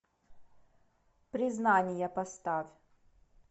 признание поставь